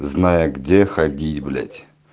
зная где ходить блять